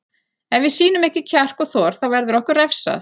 Ef við sýnum ekki kjark og þor þá verður okkur refsað.